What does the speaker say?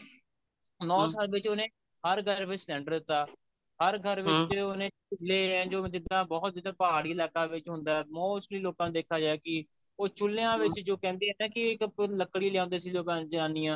ਨੋ ਸਾਲ ਵਿੱਚ ਉਹਨੇ ਹਰ ਘਰ ਵਿੱਚ cylinder ਦਿੱਤਾ ਹਰ ਘਰ ਵਿੱਚ ਉਹਨੇ ਜਿੱਦਾਂ ਬਹੁਤ ਜਿੱਦਾਂ ਪਹਾੜੀ ਇਲਾਕਾ ਵਿੱਚ ਹੁੰਦਾ mostly ਲੋਕਾਂ ਨੂੰ ਦੇਖਿਆ ਜਾਏ ਕਿ ਉਹ ਚੁਲੀਆਂ ਵਿੱਚ ਜੋ ਕਹਿੰਦੇ ਐ ਨਾ ਕਿ ਇੱਕ ਲਕੜੀ ਲਿਆਂਦੇ ਸੀ ਲੋਕਾ ਦੀ ਜਨਾਨੀਆ